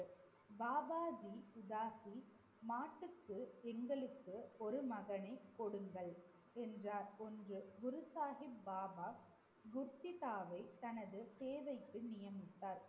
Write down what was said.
பாபாஜி உதாசி மாட்டுக்கு எங்களுக்கு ஒரு மகனை கொடுங்கள் என்றார் ஒன்று குரு சாஹிப் பாபா குருதித்தாவை தனது சேவைக்கு நியமித்தார்.